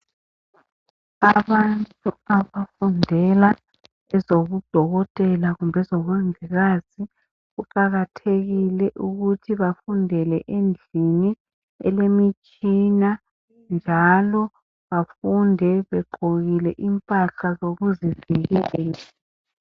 Abantu abafundela ezobudokotela kumbe ezobumongikazi kuqakathekile ukuthi bafundele endlini elemitshina njalo bafunde begqokile impahla zokuzivikela.